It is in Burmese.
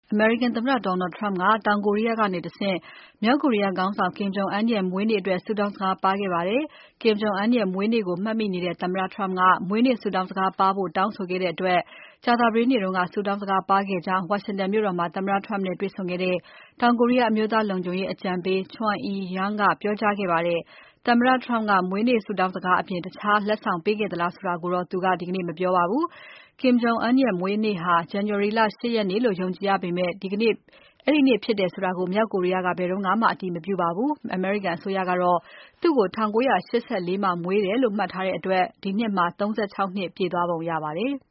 အမေရိကန်သမ္မတ Donald Trump က တောင်ကိုရီးယားကတဆင့် မြောက်ကိုရီးယားခေါင်းဆောင် Kim Jong Un ရဲ့ မွေးနေ့အတွက် ဆုတောင်းစကား ပါးခဲ့ပါတယ်။ Kim Jong Un ရဲ့မွေးနေ့ကို မှတ်မိနေတဲ့ သမ္မတ Trump က မွေးနေ့ဆုတောင်းစကားပါးဖို့ တောင်းဆိုခဲ့တဲ့အတွက် ကြာသပတေးနေ့က ဆုတောင်းစကားပါးခဲ့ကြောင်း ဝါရှင်တန်မြို့တော်မှာ သမ္မတ Trump နဲ့တွေ့ဆုံခဲ့တဲ့ တောင်ကိုရီးယား အမျိုးသားလုံခြုံရေးအကြံပေး Chung Eui-Yong က ပြောကြားခဲ့ပါတယ်။ သမ္မတ Trump ကမွေးနေ့ဆုတောင်းစကားအပြင် တခြားလက်ဆောင်ပေးခဲ့သလားဆိုတာကိုတော့ Chung Eui-Yong က ဒီကနေ့ မပြောပါဘူး။Kim Jong Un ရဲ့မွေးနေ့ဟာ ဇန်နဝါရီလ ၈ ရက်နေ့လို့ ယုံကြည်ရပေမဲ့ အဲဒီနေ့ဖြစ်တယ်ဆိုတာကို မြောက်ကိုရီးယားက ဘယ်တုန်းကမှ အတည်မပြုပါဘူး။ အမေရိကန်အစိုးရကတော့ သူ့ကို ၁၉၈၄ မှာမွေးတယ်လို့ မှတ်ထားတဲ့အတွက် ဒီနှစ်မှာ ၃၆ နှစ်ပြည့်သွားပုံရပါတယ်။